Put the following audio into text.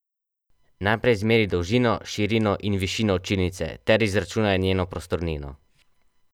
Najprej izmeri dolžino, širino in višino učilnice ter izračunaj njeno prostornino.